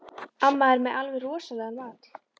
Amma er með alveg rosalegan mat.